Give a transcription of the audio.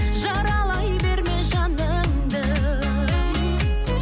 жаралай берме жаныңды